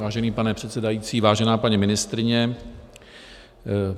Vážený pane předsedající, vážená paní ministryně.